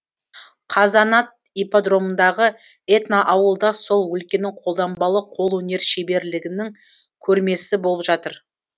қазанат ипподромындағы этноауылда сол өлкенің қолданбалы қолөнер шеберлігінің көрмесі болып жатыр